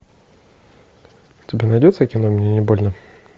у тебя найдется кино мне не больно